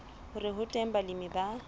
hore ho teng balemi ba